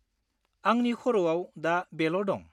आंनि खर'आव दा बेल' दं।